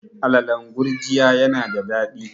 alalan gurjiya yana da dadi